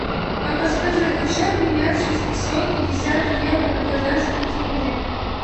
а подскажи хочу обменять шестьсот пятьдесят евро на казахские тенге